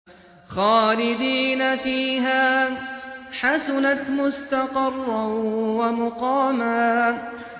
خَالِدِينَ فِيهَا ۚ حَسُنَتْ مُسْتَقَرًّا وَمُقَامًا